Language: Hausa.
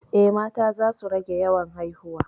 Eh, mata za su rage yawan haihuwa